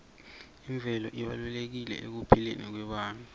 imvelo ibalulekile ekuphileni kwebantfu